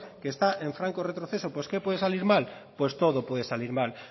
que está en franco retroceso pues qué puede salir mal pues todo puede salir mal